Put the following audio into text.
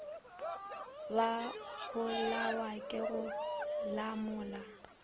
ba bolawa ke go lamola